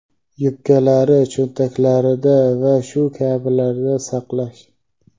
yubkalari cho‘ntaklarida va shu kabilarda saqlash;.